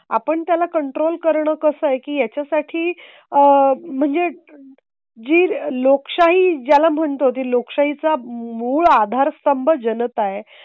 आपण त्याला कंट्रोल करणं कसं आहे की याच्या साठी आह म्हणजे जी लोकशाही ज्याला म्हणतो ती लोकशाहीचा मूलाधार स्तंभ जनता आहे.